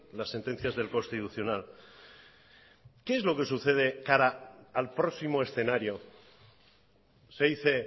las sentencias del constitucional qué es lo que sucede cara al próximo escenario se dice